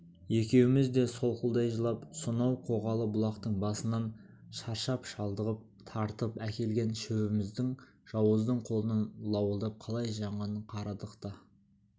екеуміз де солқылдай жылап сонау қоғалы бұлақтың басынан шаршап-шалдығып тартып әкелген шөбіміздің жауыздың қолынан лауылдап қалай жанғанын қарадық та